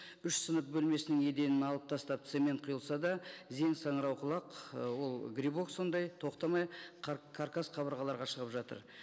үш сынып бөлмесінің еденін алып тастап цемент құйылса да зең саңырауқұлақ ы ол грибок сондай тоқтамай каркас қабырғаларға шығып жатыр